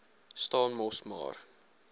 staan mos maar